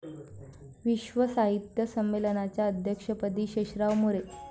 विश्व साहित्य संमेलनाच्या अध्यक्षपदी शेषराव मोरे